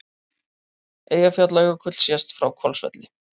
Eyjafjallajökull sést frá Hvolsvelli.